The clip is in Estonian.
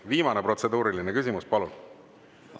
Viimane protseduuriline küsimus, palun!